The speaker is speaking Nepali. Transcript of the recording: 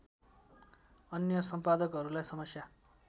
अन्य सम्पादकहरूलाई समस्या